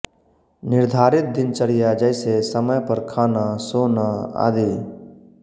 निर्धारित दिनचर्या जैसे समय पर खाना सोना आदि